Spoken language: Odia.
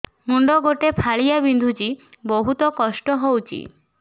ମୁଣ୍ଡ ଗୋଟେ ଫାଳିଆ ବିନ୍ଧୁଚି ବହୁତ କଷ୍ଟ ହଉଚି